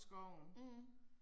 Mh